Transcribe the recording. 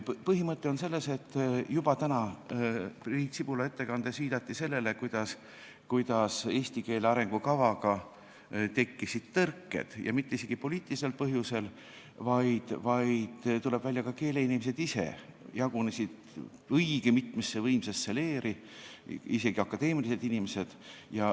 Põhimõte on selles, et täna Priit Sibula ettekandes juba viidati sellele, kuidas eesti keele arengukavaga tekkisid tõrked ja isegi mitte poliitilisel põhjusel, vaid tuleb välja, et ka keeleinimesed ise jagunesid õige mitmesse võimsasse leeri, isegi akadeemilised inimesed.